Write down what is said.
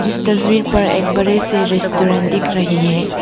इस तस्वीर पर एक बड़े से रेस्टोरेंट दिख रहे है।